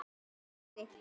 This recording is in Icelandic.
Anna og Nökkvi.